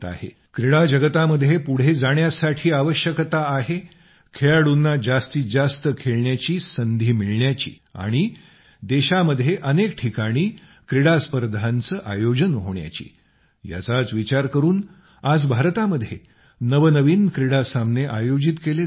क्रीडा जगतामध्ये पुढे जाण्यासाठी आवश्यक आहे ते खेळाडूंना जास्तीत जास्त खेळण्याची संधी मिळण्याची आणि देशांमध्ये अनेक ठिकाणी क्रीडा स्पर्धांचं आयोजन होण्याची याचाच विचार करून आज भारतामध्ये नवनवीन क्रीडा सामने आयोजित केले जात आहेत